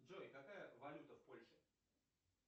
джой какая валюта в польше